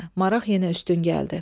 Maraq yenə üstün gəldi.